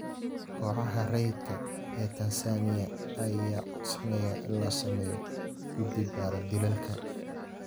Kooxaha rayidka ah ee Tansaaniya ayaa codsanaya in la sameeyo guddi baara dilalka